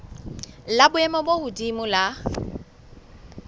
la boemo bo hodimo la